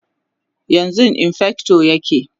yanzun infector yake